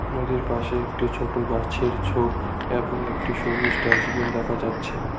নদীর পাশে একটি ছোট গাছের ছোপ এবং একটি সবুজ ডাস্টবিন দেখা যাচ্ছে